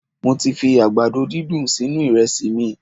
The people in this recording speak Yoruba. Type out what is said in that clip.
Mo ti fi àgbàdo dídùn sínú iresi mi